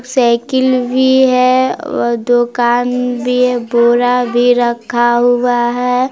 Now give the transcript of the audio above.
Cycle भी है और दुकान भी है बोरा भी रखा हुआ है।